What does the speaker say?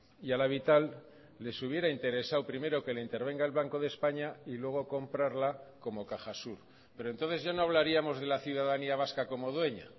y a la vital les hubiera interesado primero que le intervenga el banco de españa y luego comprarla como cajasur pero entonces ya no hablaríamos de la ciudadanía vasca como dueña